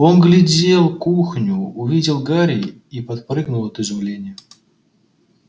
он оглядел кухню увидел гарри и подпрыгнул от изумления